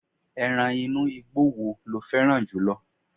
eran inú igbó wo lo féràn jùlọ